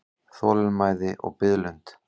Þolinmæði og biðlund.